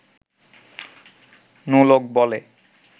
নোলক বলে